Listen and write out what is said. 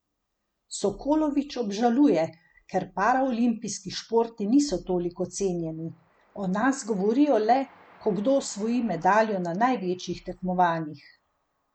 Sokolović obžaluje, ker paraolimpijski športi niso toliko cenjeni: "O nas govorijo le, ko kdo osvoji medaljo na največjih tekmovanjih.